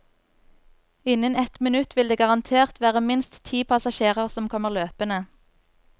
Innen ett minutt vil det garantert være minst ti passasjerer som kommer løpende.